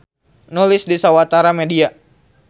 Nulis di sawatara media.